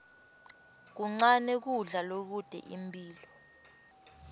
kuncane kudla lokute imphilo